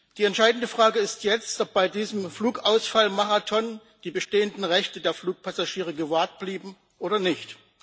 Die entscheidende Frage ist jetzt, ob bei diesem Flugausfallmarathon die bestehenden Rechte der Fluggäste gewahrt blieben oder nicht.